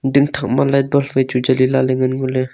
ding thak ma light bulb wai chu jali lakley ngan ngoley.